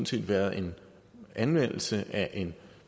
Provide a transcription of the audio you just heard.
set været en anvendelse af en